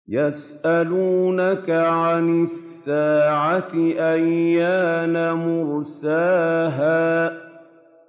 يَسْأَلُونَكَ عَنِ السَّاعَةِ أَيَّانَ مُرْسَاهَا